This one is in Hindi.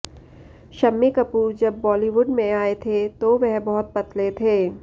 शम्मी कपूर जब बॉलीवुड में आए थे तो वो बहुत पतले थे